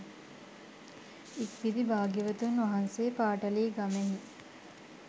ඉක්බිති භාග්‍යවතුන් වහන්සේ පාටලීගමෙහි